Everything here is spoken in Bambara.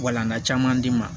Walankata caman di ma